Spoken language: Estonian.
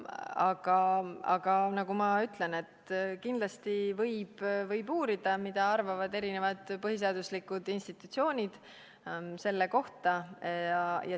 Aga nagu ma ütlesin, kindlasti võib uurida, mida arvavad erinevad põhiseaduslikud institutsioonid selle kohta.